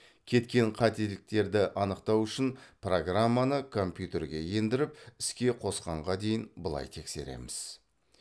кеткен қателіктерді анықтау үшін программаны компьютерге ендіріп іске қосқанға дейін былай тексереміз